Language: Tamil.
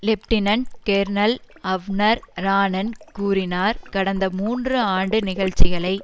லெப்டினன்ட் கேர்னல் அவ்னர் ரான்னன் கூறினார் கடந்த மூன்று ஆண்டு நிகழ்ச்சிகளை